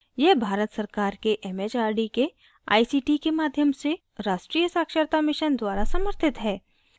यह भारत सरकार के it it आर डी के आई सी टी के माध्यम से राष्ट्रीय साक्षरता mission द्वारा समर्थित है